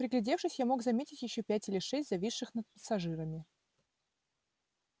приглядевшись я мог заметить ещё пять или шесть зависших над пассажирами